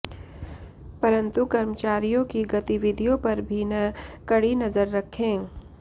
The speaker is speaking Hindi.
परंतु कर्मचारियों की गतिविधियों पर भी न कड़ी नजर रखें